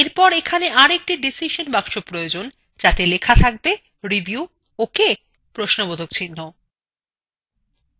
এরপর এখানে আরেকটি ডিসিশন box প্রয়োজন যাতে লেখা থাকবে review okay